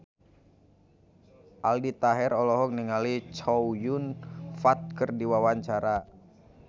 Aldi Taher olohok ningali Chow Yun Fat keur diwawancara